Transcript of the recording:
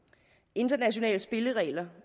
internationale spilleregler